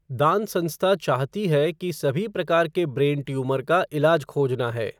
दान संस्था चाहती है की सभी प्रकार के ब्रेन ट्यूमर का इलाज खोजना है।